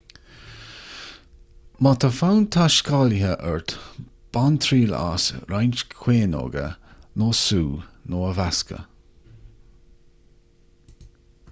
má tá fonn taiscéalaithe ort bain triail as roinnt caoineoga nó sú nó a mheascadh